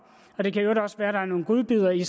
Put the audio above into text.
og det kan også være at der er nogle godbidder i